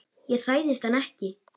Ég hræðist hann ekki.